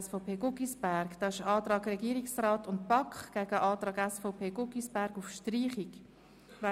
Es stehen der Antrag von Regierungsrat und BaK dem Antrag SVP/Guggisberg auf Streichung gegenüber.